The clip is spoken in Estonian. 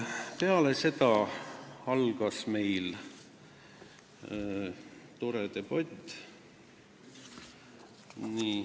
" Peale seda algas meil tore debatt.